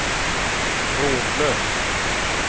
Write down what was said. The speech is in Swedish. trådlös